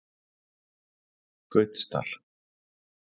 Gautsdal